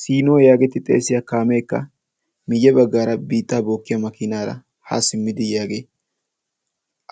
Sinoo yaageeti xeesiya kaameekka miyye baggaara biitaa bookkiya makiinaara haa simmidi yaagee